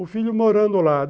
O filho morando lá.